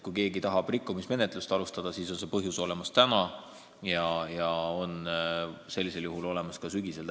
Kui keegi tahab rikkumismenetlust alustada, siis on põhjus selleks olemas täna ja täpselt samamoodi ka sügisel.